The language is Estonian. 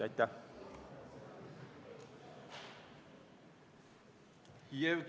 Aitäh!